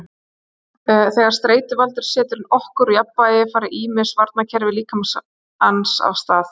þegar streituvaldur setur okkur úr jafnvægi fara ýmis varnarkerfi líkamans af stað